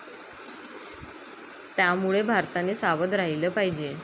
त्यामुळे भारताने सावध राहिलं पाहिजे.